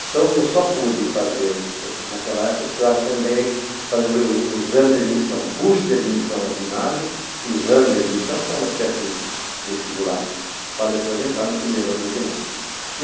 Então, eu só pude fazer, naquela época, eu precisava também fazer o o exame de admissão, curso de admissão ao ginásio, exame de admissão, que era uma espécie de vestibular, para depois entrar no primeiro ano do ginásio.